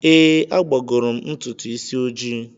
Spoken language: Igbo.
Ee, agbagoro m ntutu isi ojii.